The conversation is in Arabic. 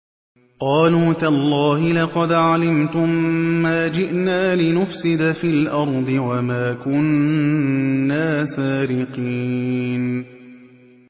قَالُوا تَاللَّهِ لَقَدْ عَلِمْتُم مَّا جِئْنَا لِنُفْسِدَ فِي الْأَرْضِ وَمَا كُنَّا سَارِقِينَ